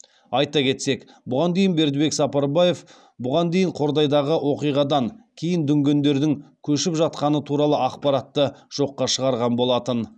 айта кетсек бұған дейін бердібек сапарбаев бұған дейін қордайдағы оқиғадан кейін дүнгендердің көшіп жатқаны туралы ақпаратты жоққа шығарған болатын